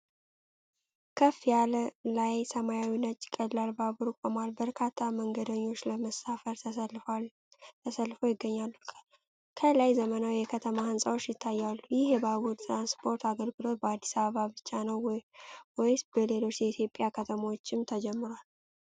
ከፍ ያለ ላይ፣ ሰማያዊ ነጭ ቀላል ባቡር ቆሟል። በርካታ መንገደኞች ለመሳፈር ተሰልፈው ይገኛሉ። ከኋላ ዘመናዊ የከተማ ህንጻዎች ይታያሉ። ይህ የባቡር ትራንስፖርት አገልግሎት በአዲስ አበባ ብቻ ነው ወይስ በሌሎች የኢትዮጵያ ከተሞችም ተጀምሯል?